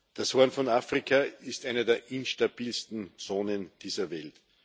Das Horn von Afrika ist eine der instabilsten Zonen dieser Welt.